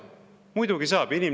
Muidugi saab!